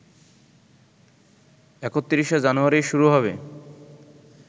৩১ জানুয়ারি শুরু হবে